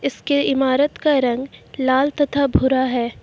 इसके ईमारत का रंग लाल तथा भूरा है।